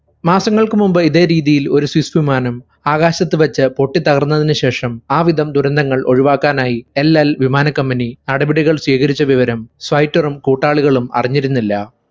മാസങ്ങൾക്കു മുമ്പ് ഇതേ രീതിയിൽ ഒരു swiss വിമാനം ആകാശത്തു വെച്ച് പൊട്ടിത്തകർന്നതിനു ശേഷം ആ വിധം ദുരന്തങ്ങൾ ഒഴിവാക്കാനായി എൽഎൽ വിമാന company നടപടികൾ സ്വീകരിച്ച വിവരം സ്വൈറ്ററും കൂട്ടാളികളും അറിഞ്ഞിരുന്നില്ല